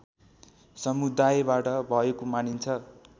समुदायबाट भएको मानिन्छ